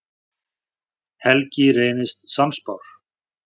Helgi reynist sannspár.